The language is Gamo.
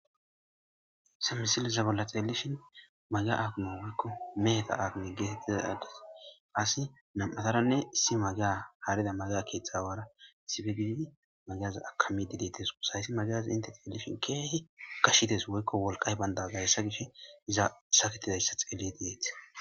hayssa misilza bolla xeelishin maga aguno wykko meheta aagine geetettiza ades asi nam7ataranne si maga haarida maga keeththawaara sifegiidi magaza akamidi deetes sahyssi magyazi inte xeelishin keehi kashides woykko wolqay baynda gayssa gish zasaketidayssa xeli deeeti